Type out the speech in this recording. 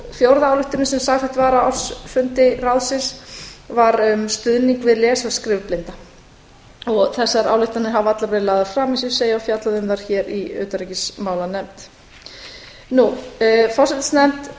fjórða ályktunin sem samþykkt var á ársfundi ráðsins var um stuðning við við les og skrifblinda þessar ályktanir hafa allar verið lagðar fram eins og ég segi og fjallað um þær hér í utanríkismálanefnd forsætisnefnd